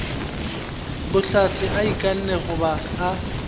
bohlatse a ikanne goba a